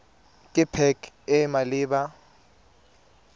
ke pac e e maleba